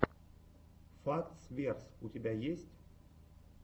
фактс верс у тебя есть